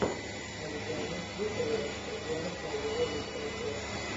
оригами тьюториалс татьяна фролова лучшая часть